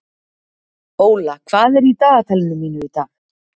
Óla, hvað er í dagatalinu mínu í dag?